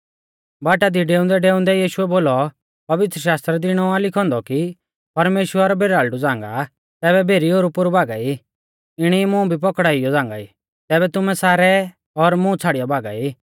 बाटा दी डेऊंदैडेऊंदै यीशुऐ बोलौ पवित्रशास्त्रा दी इणौ आ लिखौ औन्दौ कि परमेश्‍वर भेराल़डु झ़ांगा आ तैबै भेरी ओरुपोरु भागा ई इणी मुं भी पौकड़ाउइयौ झ़ांगाई तैबै तुमै सारै और मुं छ़ाड़ियौ भागा ई